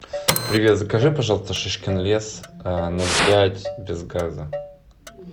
привет закажи пожалуйста шишкин лес ноль пять без газа